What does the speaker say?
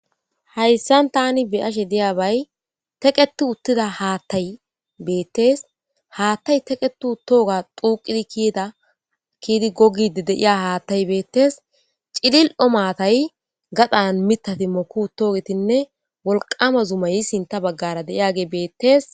hayssan tani beyashe diyaabay teqeti uttida haattay beettees haattay teqqetu tooga xuuqidi kiida kiidi gogide deiya haattay beettes cilil7o matay gadhan mitati moku toogetinne wolqama zumay sinta baggara de'iyage beettees